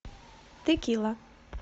текила